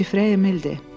Şifrə Emildir.